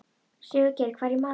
Sigurgeir, hvað er í matinn?